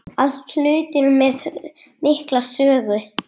Allt hlutir með mikla sögu.